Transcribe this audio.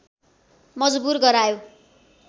मजबुर गरायो